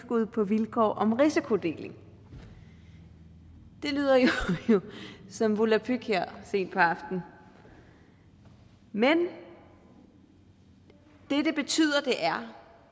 på vilkår om risikodeling det lyder jo som volapyk her sent på aftenen men det det betyder er